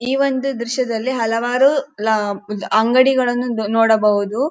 ಈ ಒಂದು ದ್ರಶ್ಯದಲ್ಲಿ ಹಲವಾರು ಅಂಗಡಿಗಳನ್ನು ನೋಡಬಹುದು.